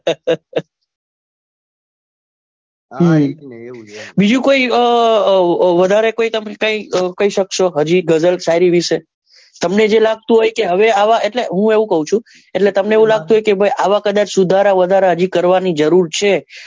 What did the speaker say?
બીજું કઈ વધારે કોઈ તમે વધારે કઈ સક્સો શાયરી ગઝલ વિશે તમને જે લાગતું હોય કે હવે આવા એટલે હું એવું કહું છું ભાઈ કદાચ સુધારા વધારા કરવા ની જરૂર છે.